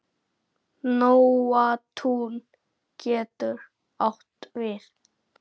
Nóatún getur átt við